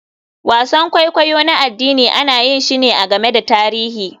Wasan kwaikwayo na addini ana yin shi ne a game da tarihi.